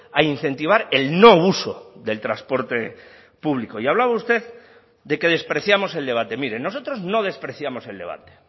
a incentivar el no uso del transporte público y hablaba usted de que despreciamos el debate mire nosotros no despreciamos el debate